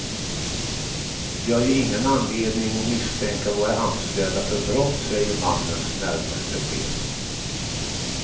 Vi har ju ingen anledning att misstänka våra anställda för brott, säger mannens närmaste chef.